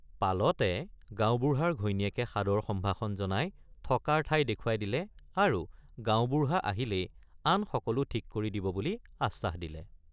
পালতে গাঁওবুঢ়াৰ ঘৈণীয়েকে সাদৰ সম্ভাষণ জনাই থকাৰ ঠাই দেখুৱাই দিলে আৰু গাঁওবুঢ়৷ আহিলেই আন সকলো ঠিক কৰি দিব বুলি আশ্বাস দিলে।